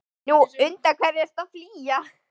Nú, undan hverju ertu þá að flýja?